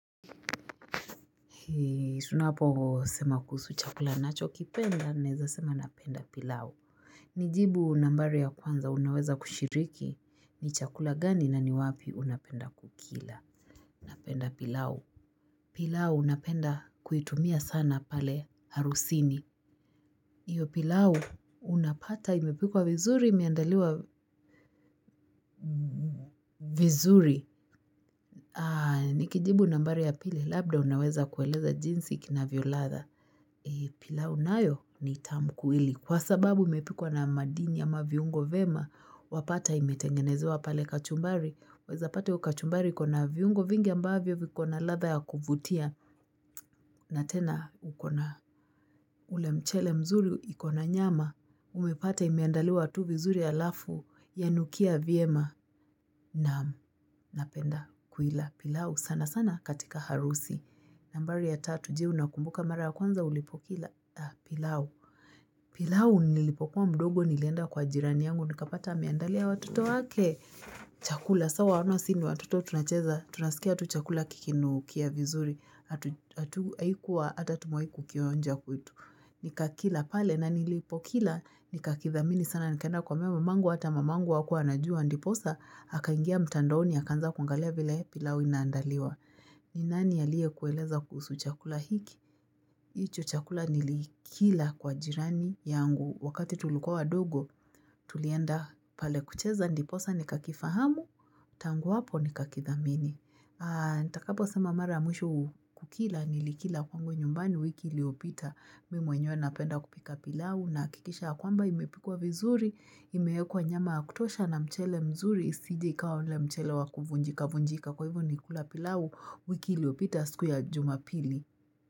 Tunapo sema kuhusu chakula nacho kipenda, naeza sema napenda pilau. Nijibu nambari ya kwanza, unaweza kushiriki, ni chakula gani na ni wapi unapenda kukila. Napenda pilau. Pilau, napenda kuitumia sana pale harusini. Iyo pilau, unapata, imepikwa vizuri, imeandaliwa vizuri. Nikijibu nambari ya pili, labda unaweza kueleza jinsi kinavyo ladha. Pilau nayo ni tamkuili kwa sababu imepikwa na madini ama viungo vema wapata imetengenezewa pale kachumbari waeza pata hio kachumbari ikona viungo vingi ambavyo vikona ladha ya kuvutia na tena ukona ule mchele mzuri ikona nyama umepata imeandaliwa tu vizuri alafu yanukia vyema naam napenda kuila pilau sana sana katika harusi nambari ya tatu je unakumbuka mara ya kwanza ulipokila pilau pilau nilipokuwa mdogo nilienda kwa jirani yangu nikapata ameandalia watoto wake chakula sawa wano sini watoto tunacheza tunasikia tu chakula kikinu kia vizuri hatu haikuwa hata tumewai ku kionja kwetu nikakila pale na nilipokila nikakithamini sana nikaenda kuambia mama angua ata mama angu hakua anajua ndiposa aka ingia mtandaoni akaanza kuangalia vile pilau inaandaliwa ni nani aliye kueleza kuhusu chakula hiki Icho chakula nilikila kwa jirani yangu wakati tulikuwa wadogo tulienda pale kucheza ndiposa ni kakifahamu tangu wapo ni kakithamini. Nitakapo sema mara ya mwisho kukila nilikila kwangu nyumbani wiki iliopita mimi mwenyewe na penda kupika pilau nahakikisha ya kwamba imepikwa vizuri imeekwa nyama ya kutosha na mchele mzuri isije ikawa ule mchele wa kuvunjika vunjika kwa hivo nikula pilau wiki iliopita siku ya jumapili.